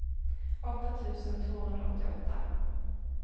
åtta tusen tvåhundraåttioåtta